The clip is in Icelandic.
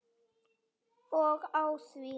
Og á því!